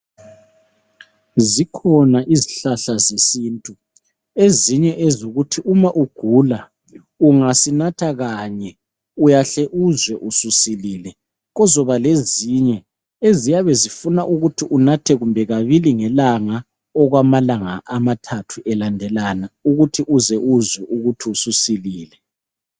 Zikhona izihlahla zesintu, ezinye ezokuthi uma ugula, ungasinatha kanye, uyahle uzwe, ususilile. Kuzoba lezinye eziyabe zifuna ukuthi unathe kumbe kabili ngelanga, okwamalanga amathathu elandelana. Ukuze uzwe, ukuthi ususilile.